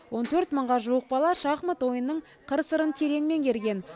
он төрт мыңға жуық бала шахмат ойынның қыр сырын терең меңгерген